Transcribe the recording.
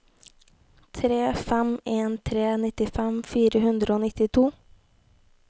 tre fem en tre nittifem fire hundre og nittito